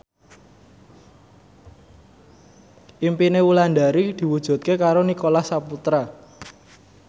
impine Wulandari diwujudke karo Nicholas Saputra